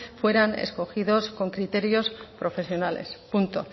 fueran escogidos con criterios profesionales punto